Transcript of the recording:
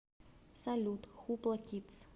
салют хупла кидс